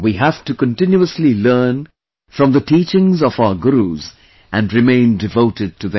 We have to continuously learn from the teachings of our Gurus and remain devoted to them